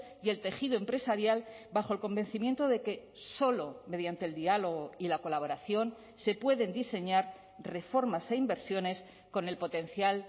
y el tejido empresarial bajo el convencimiento de que solo mediante el diálogo y la colaboración se pueden diseñar reformas e inversiones con el potencial